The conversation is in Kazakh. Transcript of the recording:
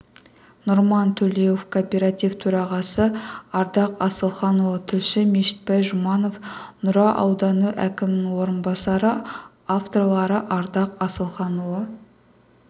нұржан төлеуов кооператив төрағасы ардақ асылханұлы тілші мешітбай жұманов нұра ауданы әкімінің орынбасары авторлары ардақ асылханұлы